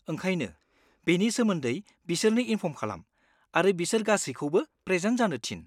ओंखायनो, बेनि सोमोन्दै बिसोरनो इनफर्म खालाम आरो बिसोर गासैखौबो प्रेजेन्ट जानो थिन।